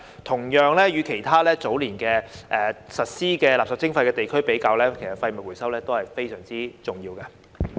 同樣，與其他早年已實施垃圾徵費的地區比較，其實廢物回收都是非常重要的。